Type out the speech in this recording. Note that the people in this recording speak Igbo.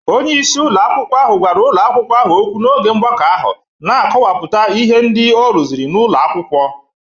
Onye isi ụlọ akwụkwọ ahụ gwara ụlọ akwụkwọ ahụ okwu n'oge mgbakọ ahụ, na-akọwapụta ihe ndị ọ rụziri n'ụlọ akwụkwọ.